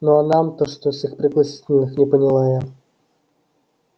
ну а нам-то что с их пригласительных не поняла я